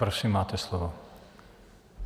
Prosím, máte slovo.